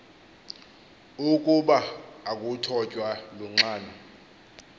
ukuba akuthotywa lunxano